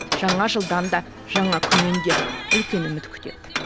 жаңа жылдан да жаңа күннен де үлкен үміт күтеді